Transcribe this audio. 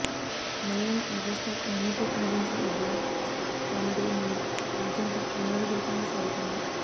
మలయాళ megastar Mammootty నటించిన ఈ black comedy movie ఆద్యంతం వినోదభరితంగా సాగుతుంది